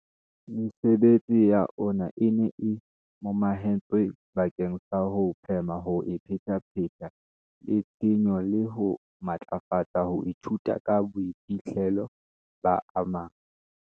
Mesebetsi ya ona e ne e momahantswe bakeng sa ho phema ho iphetapheta le tshenyo le ho matlafatsa ho ithuta ka boiphihlelo ba a mang.